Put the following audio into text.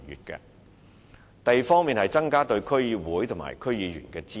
第二，是增加對區議會及區議員的支援。